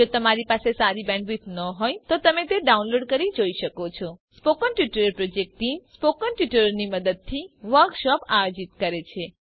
જો તમારી પાસે સારી બેન્ડવિડ્થ ન હોય તો તમે ડાઉનલોડ કરી તે જોઈ શકો છો spoken tutorial project team spoken ટ્યુટોરીયલોની મદદથી વર્કશોપ આયોજિત કરે છે